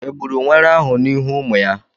Egburu nwere ahụ n'ihu ụmụ ya?